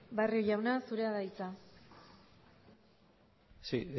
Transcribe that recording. barrio jauna zurea da hitza sí